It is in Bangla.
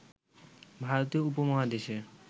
ভারতীয় উপমহাদেশের